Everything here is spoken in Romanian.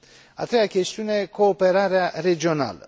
A treia chestiune cooperarea regională.